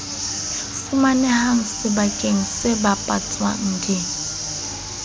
fumanehang sebakeng se bapatswang di